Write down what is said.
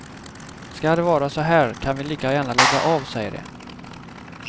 Ska det vara så här kan vi lika gärna lägga av, säger de.